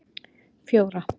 fjóra